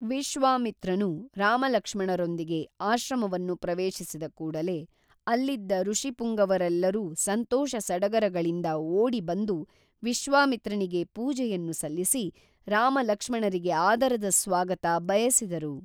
ವಿಶ್ವಾಮಿತ್ರನು ರಾಮಲಕ್ಷ್ಮಣರೊಂದಿಗೆ ಆಶ್ರಮವನ್ನು ಪ್ರವೇಶಿಸಿದ ಕೂಡಲೆ ಅಲ್ಲಿದ್ದ ಋಷಿಪುಂಗವರೆಲ್ಲರೂ ಸಂತೋಷ ಸಡಗರಗಳಿಂದ ಓಡಿ ಬಂದು ವಿಶ್ವಾಮಿತ್ರನಿಗೆ ಪೂಜೆಯನ್ನು ಸಲ್ಲಿಸಿ ರಾಮಲಕ್ಷ್ಮಣರಿಗೆ ಆದರದ ಸ್ವಾಗತ ಬಯಸಿದರು